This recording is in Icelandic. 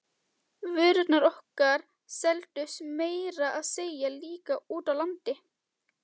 Vörurnar okkar seldust meira að segja líka úti á landi.